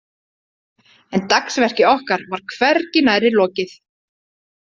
En dagsverki okkar var hvergi nærri lokið.